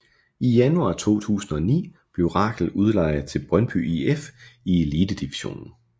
I januar 2009 blev Rakel udlejet til Brøndby IF i Elitedivisionen